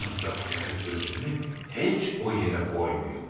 Ancaq gərək özümü heç o yerə qoymayım.